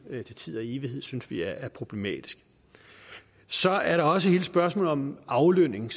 til tid og evighed synes vi er problematisk så er der også hele spørgsmålet om aflønning